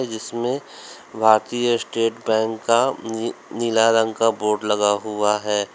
जिसमें भारतीय state bank का नीला रंग का बोर्ड लगा हुआ है।